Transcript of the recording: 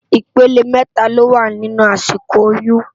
Ipélé mètá ló wá ninú àsíkó óyùn